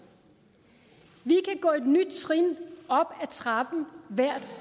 vi kan gå et nyt trin op ad trappen hvert